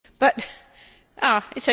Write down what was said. What about Commissioner Dalli?